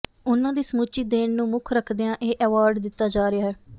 ਉਹਨਾਂ ਦੀ ਸਮੁੱਚੀ ਦੇਣ ਨੂੰ ਮੁਖ ਰਖਦਿਆਂ ਇਹ ਐਵਾਰਡ ਦਿੱਤਾ ਜਾ ਰਿਹਾ ਹੈ